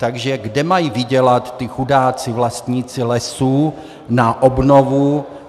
Takže kde mají vydělat ti chudáci vlastníci lesů na obnovu?